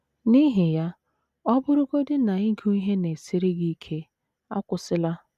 N’ihi ya, ọ bụrụgodị na ịgụ ihe na - esiri gị ike, akwụsịla!